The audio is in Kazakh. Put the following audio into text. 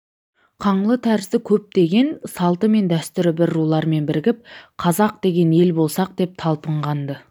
қаңлы тәрізді көптеген салты мен дәстүрі бір рулармен бірігіп қазақ деген ел болсақ деп талпынған-ды